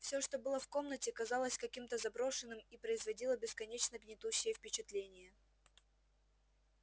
все что было в комнате казалось каким-то заброшенным и производило бесконечно гнетущее впечатление